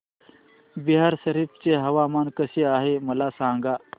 बिहार शरीफ चे हवामान कसे आहे मला सांगा